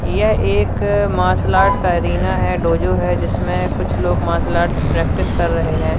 यह एक martial art का अरीना है डोजो है जिसमें कुछ लोग मार्शल आर्ट प्रैक्टिस कर रहे हैं।